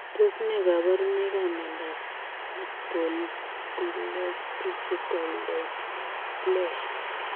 Tos ne kabarunoik ap miondoop sipontileopisikol daisiplesia